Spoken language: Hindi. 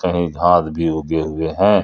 कहीं घास भी उगे हुए हैं।